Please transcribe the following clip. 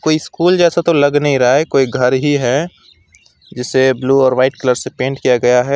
व स्कूल जैसा तो लग नहीं रहा है कोई घर ही है जिसे ब्लू और वाइट कलर से पेंट किया गया है।